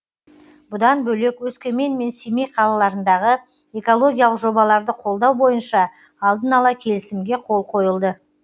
бұдан бөлек өскемен мен семей қалаларындағы экологиялық жобаларды қолдау бойынша алдын ала келісімге қол қойылды